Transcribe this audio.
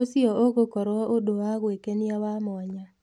ũcio ũgũkorwo ũndũ wa gwĩkenia wa mwanya